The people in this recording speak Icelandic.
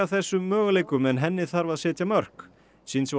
þessum möguleikum en henni þarf að setja mörk